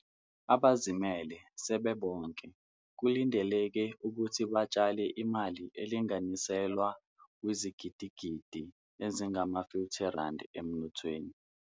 Abazimele sebebonke kulindeleke ukuthi batshale imali elinganiselwa kwizigidigidi ezingama-R50 emnothweni.